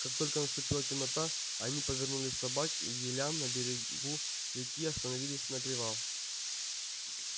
как только наступила темнота они повернули собак к елям на берегу реки остановились на привал